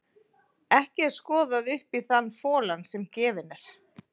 Ekki er skoðað upp í þann folann sem gefinn er.